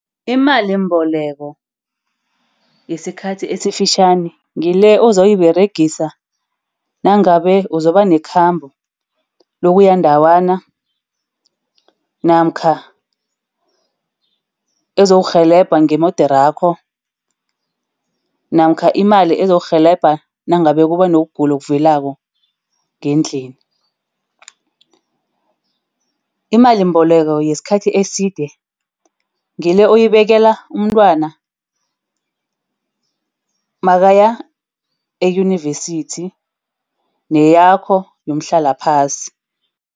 Imalimboleko yesikhathi esifitjhani ngile ozoyiberegisa nangabe uzoba nekhamba lokuya ndawana namkha ezokurhelebha ngeemoderakho namkha imali ezokurhelebha nangabe kuba nokugula okuvelelako ngendlini. Imalimboleko yesikhathi eside ngile oyibekela umntwana makaya eyunivesithi neyakho yomhlalaphasi.